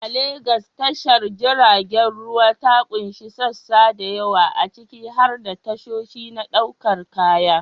A Legas, tashar jiragen ruwa ta ƙunshi sassa da yawa, ciki har da tashoshi na ɗaukar kaya.